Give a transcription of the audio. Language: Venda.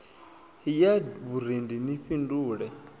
ya d vhurendi ni fhindule